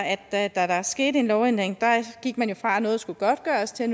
at da der skete en lovændring gik man fra at noget skulle godtgøres til at